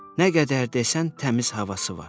Nə qədər desən təmiz havası var.